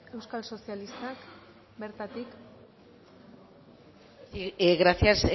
euskal sozialistak bertatik gracias